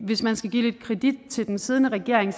hvis man skal give lidt kredit til den siddende regering